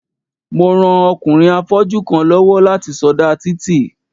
Mo ran ọkùnrin afọ́jú kan lọ́wọ́ láti sọdá títì.